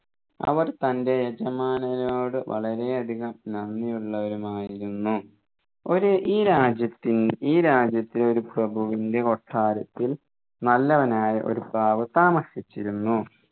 അവർ തൻെറ യജമാനരോട് വളരെ അധികം നന്ദിയുള്ളവരുമായിരുന്നു ഒര് ഈ രാജ്യത്തിന് ഈ രാജ്യത്തെ ഒരു പ്രഭുവിൻെറ കൊട്ടാരത്തിൽ നല്ലവനായ ഒരു പ്രാവ് താമസിച്ചിരുന്നു